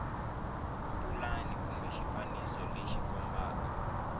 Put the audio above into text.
pulani kumbe xifaniso lexi kombaka